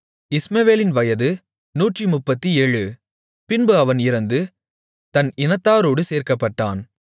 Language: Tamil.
இஸ்மவேலின் வயது 137 பின்பு அவன் இறந்து தன் இனத்தாரோடு சேர்க்கப்பட்டான்